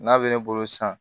N'a bɛ ne bolo san